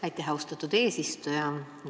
Aitäh, austatud eesistuja!